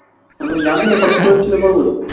তুমি কি জানতেনা ঘটোৎকচের ছেলে বড়বড়িক